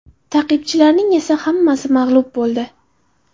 Ta’qibchilarning esa hammasi mag‘lub bo‘ldi.